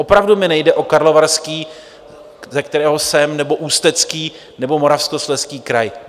Opravdu mi nejde o Karlovarský, ze kterého jsem, nebo Ústecký nebo Moravskoslezský kraj.